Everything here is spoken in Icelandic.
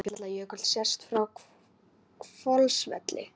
Eyjafjallajökull sést frá Hvolsvelli.